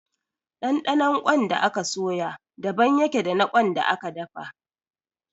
Ɗanɗanon ƙwan da aka soya daban ya ke da na ƙwan da aka dafa